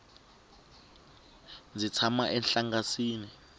ndzi tshama enhlangasini